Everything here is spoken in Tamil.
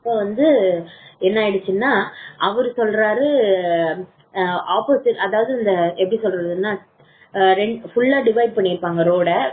அப்போ வந்து என்ன ஆயிடுச்சுன்னு அவர் சொல்றாரு அதாவது வந்து எப்படி சொல்றது full லா divide பண்ணி இருப்பாங்க road டா அங்க கொஞ்சம்